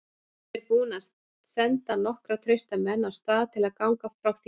Ég er búinn að senda nokkra trausta menn af stað til að ganga frá þér.